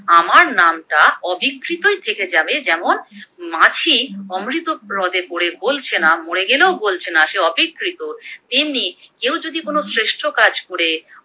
আমার নামটা অবিকৃতই থেকে যাবে যেমন মাছি অমৃত হ্রদে পরে গোলছেনা মরে গেলেও গোলছেনা সে অবিকৃত, তেমনি কেউ যদি কোনো শ্রেষ্ঠ কাজ করে